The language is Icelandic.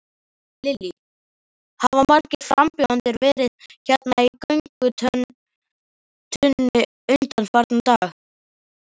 Lillý: Hafa margir frambjóðendur verið hérna í göngugötunni undanfarna daga?